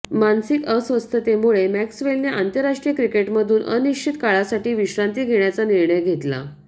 मानसिक अस्वस्थतेमुळे मॅक्सवेलने आंतरराष्ट्रीय क्रिकेटमधून अनिश्चित काळासाठी विश्रांती घेण्याचा निर्णय घेतला